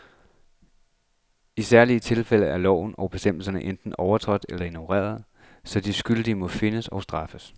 I dette særlige tilfælde er love og bestemmelser enten overtrådt eller ignoreret, så de skyldige må findes og straffes.